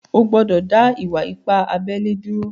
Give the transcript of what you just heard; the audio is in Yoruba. Ò gbọ̀dọ̀ dá ìwà-ìpà àbèlè dúró!